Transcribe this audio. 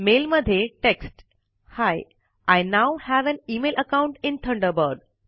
mail मध्ये text ही I now have an email account in Thunderbird